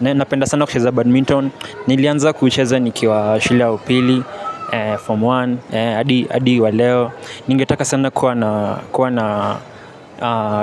Napenda sana kucheza badminton. Nilianza kucheza nikiwa shulia upili Form moja, adi wa leo. Ningetaka sana kuwa na